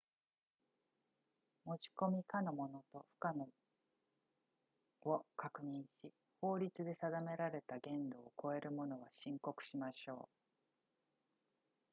持ち込み可のものと不可のを確認し法律で定められた限度を超えるものは申告しましょう